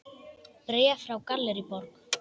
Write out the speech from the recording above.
Bréf frá Gallerí Borg.